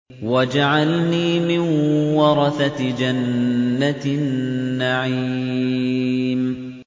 وَاجْعَلْنِي مِن وَرَثَةِ جَنَّةِ النَّعِيمِ